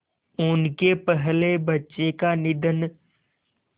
उनके पहले बच्चे का निधन